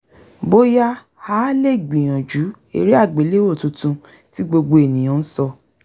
bóyá a lè gbìyànjú eré àgbéléwò tuntun tí gbogbo ènìyàn ń sọ